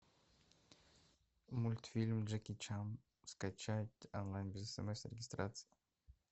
мультфильм джеки чан скачать онлайн без смс и регистрации